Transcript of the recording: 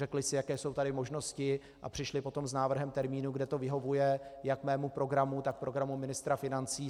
Řekly si, jaké jsou tady možnosti, a přišly potom s návrhem termínu, kdy to vyhovuje jak mému programu, tak programu ministra financí.